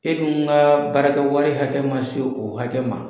E dun ka baarakɛwari ma se o hakɛ ma.